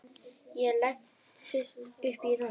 Ég leggst upp í rúmið.